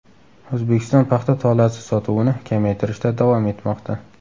O‘zbekiston paxta tolasi sotuvini kamaytirishda davom etmoqda.